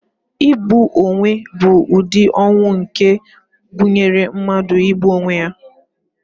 Igbu onwe bụ ụdị ọnwụ nke gụnyere mmadụ igbu onwe ya.